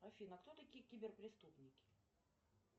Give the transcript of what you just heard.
афина а кто такие кибер преступники